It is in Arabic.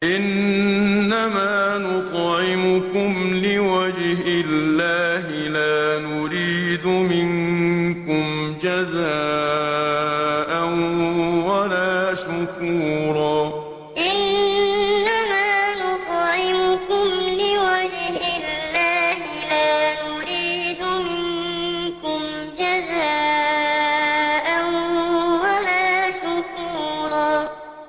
إِنَّمَا نُطْعِمُكُمْ لِوَجْهِ اللَّهِ لَا نُرِيدُ مِنكُمْ جَزَاءً وَلَا شُكُورًا إِنَّمَا نُطْعِمُكُمْ لِوَجْهِ اللَّهِ لَا نُرِيدُ مِنكُمْ جَزَاءً وَلَا شُكُورًا